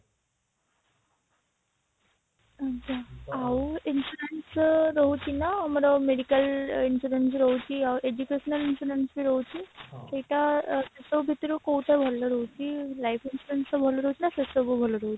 ଆଜ୍ଞା ଆଉ insurance ବି ରହୁଛି ନା ଆମର medical insurance ବି ରହୁଛି ଆଉ educational insurance ବି ରହୁଛି ସେଇଟା ସେସବୁ ଭିତରୁ କୋଉଟା ଭଲ ରହୁଛି life insurance ଟା ଭଲ ରହୁଛି ନା ସେସବୁ ଭଲ ରହୁଛି